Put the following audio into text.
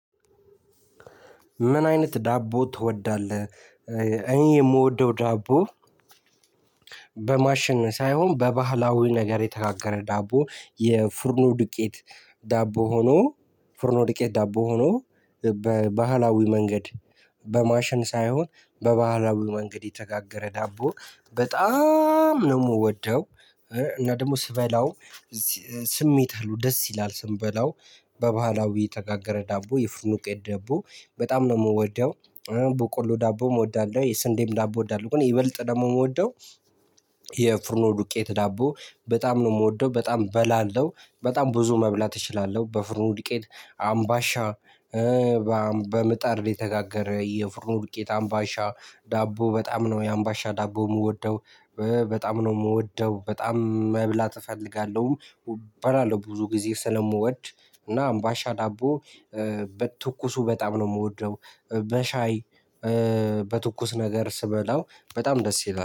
ምን አይነት ዳቦ ትወዳለህ? እኔ የምወደው ዳቦ። በማሸን ሳይሆን በባህላዊ ነገር የተጋገረ ዳቦ የፉርኖ ዱቄት ዳቦ ሆኖ ፉርኖ ዱቄት ዳቦ ሆኖ በባህላዊ መንገድ በማሽን ሳይሆን በባህላዊ መንገድ የተጋገረ ዳቦ በጣም ነው ምወደው። እና ደግሞ ስበላው ስሜት አለው ደስ ይላል ስንበላው በባህላዊ የተጋገረ ዳቦ የፉርኖ ዱቄት ደቦ በጣም ነው ምወደው። በቆሎ ዳቦ እወዳለሁ የስንዴም ዳቦ እወዳለሁ ግን ይበልጥ ደግሞ ምወደው። የፉርኖ ዱቄት ዳቦ በጣም ነው ምወደው በጣም በላለው በጣም ብዙ መብላት እችላለሁ። በፉርኖ ዱቄት አምባሻ። በምጣድ ላይ የተጋገረ የፉርኖ ዱቄት አምባሻ ዳቦ በጣም ነው የአምባሻ ዳቦ ምወደው። በጣም ነው ምወደው በጣም መብላት እፈልጋለሁ። በላለው ብዙ ጊዜ ስለምወድ እና አምባሻ ዳቦ በቱኩሱ በጣም ነው ምወደው በሻይ በትኩስ ነገር ስበላው በጣም ደስ ይላል